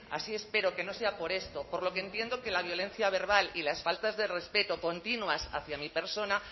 así espero que no sea por esto por lo que entiendo que la violencia verbal y las faltas de respeto continuas hacia mi persona